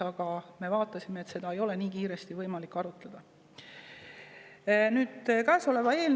Aga me vaatasime, et seda ei ole nii kiiresti võimalik arutada.